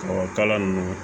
Ɔ kala nunnu